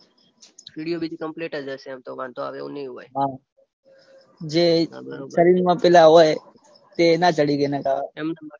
સીડીઓ બીજી કમ્પ્લીટ જ હશે એમ તો વાંધો આવે એવું નઈ હોય. જે શરીરમાં પેલા હોય એ ના ચઢી રે નૈતર